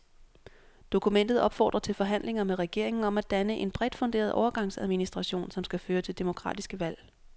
Dokumentet opfordrer til forhandlinger med regeringen om at danne en bredt funderet overgangsadministration, som skal føre til demokratiske valg.